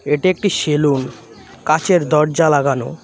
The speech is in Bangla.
এটি একটি সেলুন কাঁচের দরজা লাগানো।